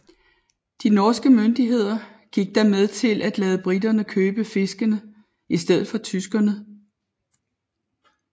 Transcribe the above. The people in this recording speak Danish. De norske myndigheder gik da med til at lade briterne købe fiskene i stedet for tyskerne